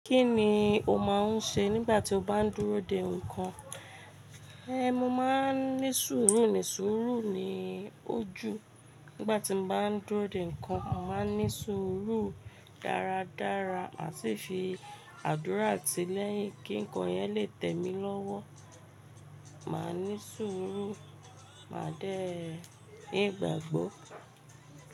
Kí ni o máa ń ṣe nígbà tí o bá ń dúró de nǹkan? Ehn, mo máa ń ní sùúrù ní sùúrù ni ojú nígbà tí mo bá ń dúró de nǹkan. Mo máa ń ní sùúrù dáradára má sì fi àdúrà tí lẹ̀yin kí nǹkan yẹn lè tẹ̀ mí lọ́wọ́. Máa ní sùúrù, máa dẹ̀ ní igbàgbọ́.